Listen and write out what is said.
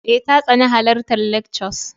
Eh ta tsani halartar lectures.